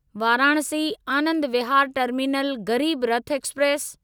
Varanasi Anand Vihar terminal Garib Rath express